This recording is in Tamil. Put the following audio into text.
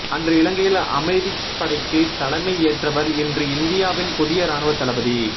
அன்று இலங்கையில் அமைதிப்படைக்கு தலைமை ஏற்றவர் இன்று இந்தியாவின் புதிய இராணுவத் தளபதி